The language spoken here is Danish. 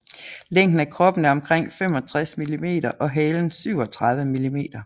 Længden af kroppen er omkring 65 millimeter og halen 37 millimeter